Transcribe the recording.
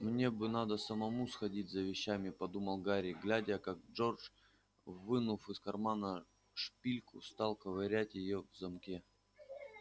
мне бы надо самому сходить за вещами подумал гарри глядя как джордж вынув из кармана шпильку стал ковырять её в замке